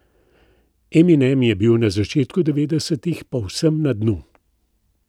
Eminem je bil na začetku devetdesetih povsem na dnu.